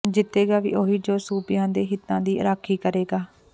ਜਿੱਤੇਗਾ ਵੀ ਉਹੀ ਜੋ ਸੂਬਿਆਂ ਦੇ ਹਿਤਾਂ ਦੀ ਰਾਖੀ ਕਰੇਗਾ